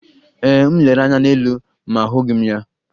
Ee, m lere anya n'elu ma ahụghị m ya.